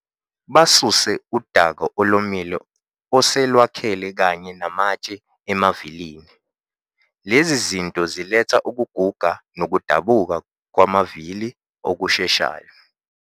Basuse udaka olomile oselwakhele kanye namatshe emavilini. Lezi zinto ziletha ukuguga nokudabuka kwamavili okusheshayo.